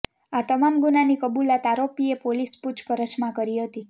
આ તમામ ગુનાની કબુલાત આરોપીએ પોલીસ પુછપરછમાં કરી હતી